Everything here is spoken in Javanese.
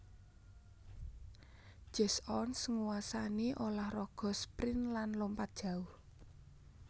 Jesse Owens nguwasani ulah raga sprint lan lompat jauh